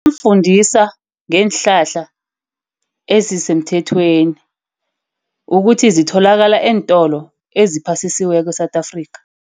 fundisa ngeenhlahla ezisemthethweni ukuthi zitholakala eentolo eziphasisiweko e-South Africa.